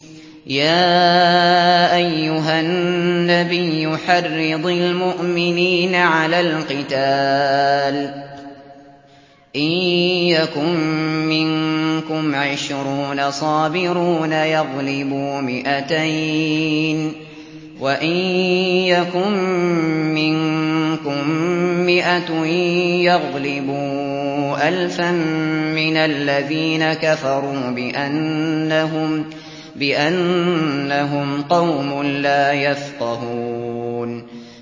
يَا أَيُّهَا النَّبِيُّ حَرِّضِ الْمُؤْمِنِينَ عَلَى الْقِتَالِ ۚ إِن يَكُن مِّنكُمْ عِشْرُونَ صَابِرُونَ يَغْلِبُوا مِائَتَيْنِ ۚ وَإِن يَكُن مِّنكُم مِّائَةٌ يَغْلِبُوا أَلْفًا مِّنَ الَّذِينَ كَفَرُوا بِأَنَّهُمْ قَوْمٌ لَّا يَفْقَهُونَ